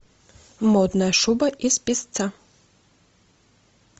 модная шуба из песца